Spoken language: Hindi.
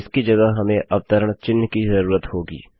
तो इसकी जगह हमें अवतरण चिह्न की ज़रूरत होगी